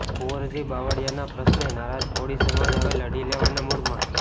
કુંવરજી બાવળિયાના પ્રશ્ને નારાજ કોળી સમાજ હવે લડી લેવાના મૂડમાં